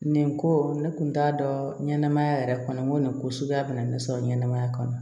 Nin ko ne kun t'a dɔn ɲɛnamaya yɛrɛ kɔnɔ n ko nin ko suguya bɛna ne sɔrɔ ɲɛnɛmaya kɔnɔ